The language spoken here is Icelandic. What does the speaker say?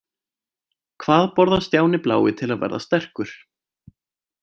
Hvað borðar Stjáni blái til að verða sterkur?